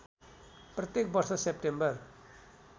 प्रत्येक वर्ष सेप्टेम्बर